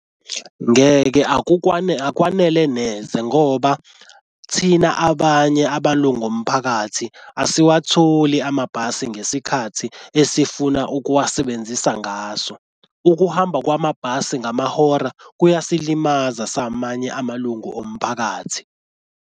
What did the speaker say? Ngeke akwanele neze ngoba thina abanye amalungu omphakathi asiwatholi amabhasi ngesikhathi esifuna ukuwasebenzisa ngaso. Ukuhamba kwamabhasi ngamahora kuyasilimaza samanye amalungu omphakathi.